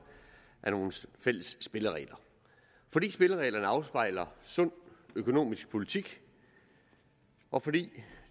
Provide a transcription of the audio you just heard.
af nogle fælles spilleregler fordi spillereglerne afspejler sund økonomisk politik og fordi